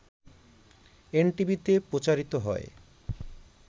এনটিভিতে প্রচারিত হয়